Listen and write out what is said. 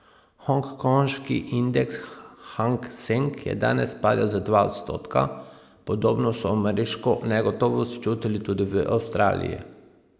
Hongkongški indeks Hang Seng je danes padel za dva odstotka, podobno so ameriško negotovost čutili tudi v Avstraliji.